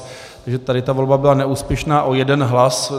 Takže tady ta volba byla neúspěšná o jeden hlas.